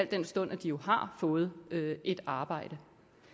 den stund at de jo har fået et arbejde